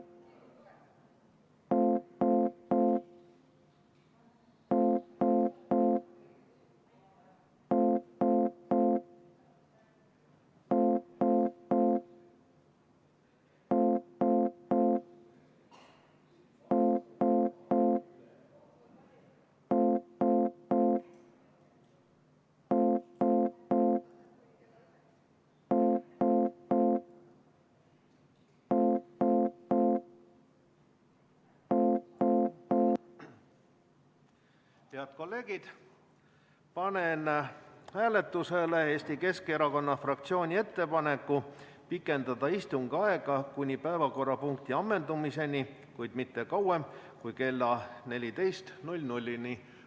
Head kolleegid, panen hääletusele Eesti Keskerakonna fraktsiooni ettepaneku pikendada istungi aega kuni päevakorrapunkti ammendumiseni, kuid mitte kauem kui kella 14-ni.